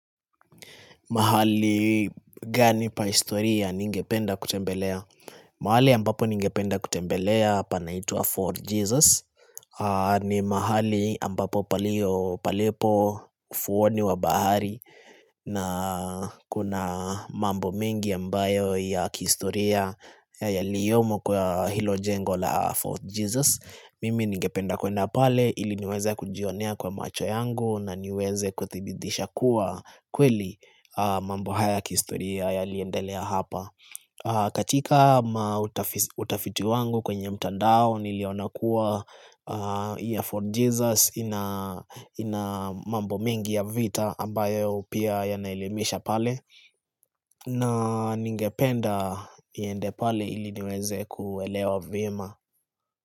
Mahali gani pa historia ningependa kutembelea. Mahali ambapo ningependa kutembelea panaitwa For Jesus. Ni mahali ambapo palipo ufowani wa bahari na kuna mambo mingi ambayo ya kistoria ya liyomo kwa hilo jengo la For Jesus. Mimi ningependa kwenda pale ili niweze kujionea kwa macho yangu na niweze kuthibidisha kuwa kweli mambo haya kistoria ya liendelea hapa katika mautafitu wangu kwenye mtandao nilionakuwa ya fort Jesus ina mambo mengi ya vita ambayo pia yanalemesha pale na ningependa iende pale ili niweze kuwelewa vima.